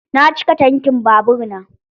Na cika tankin babur na.